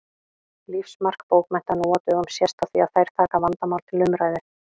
Lífsmark bókmennta nú á dögum sést á því að þær taka vandamál til umræðu.